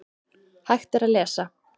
Hægt er að lesa